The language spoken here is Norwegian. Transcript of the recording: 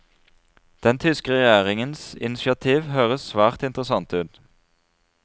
Den tyske regjeringens initiativ høres svært interessant ut.